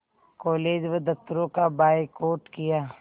college व दफ़्तरों का बायकॉट किया